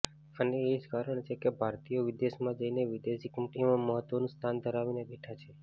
અને એજ કારણ છે કે ભારતીયો વિદેશમાં જઇને વિદેશી કંપનીઓમાં મહત્વનું સ્થાન ધરાવીને બેઠા છે